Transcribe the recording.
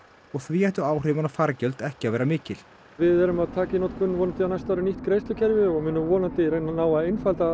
og því ættu áhrifin á fargjöld ekki að vera mikil við erum að taka í notkun vonandi á næsta ári nýtt greiðslukerfi og munum vonandi ná að einfalda